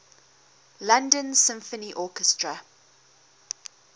london symphony orchestra